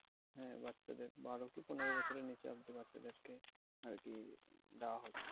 হ্যাঁ বাচ্চাদের বারো কি পনেরো বছরের নিচে আরকি বাচ্চাদের কে আরকি দেওয়া হচ্ছে।